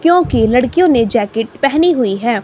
क्योंकि लड़कियों ने जैकेट पहनी हुई है।